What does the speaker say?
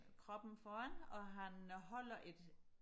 kroppen foran og han holder et